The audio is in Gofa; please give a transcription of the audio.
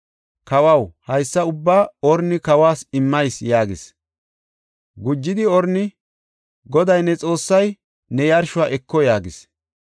Kawaw, haysa ubbaa Orni kawas immis” yaagis. Gujidi Orni, “Goday ne Xoossay ne yarshuwa eko” yaagis.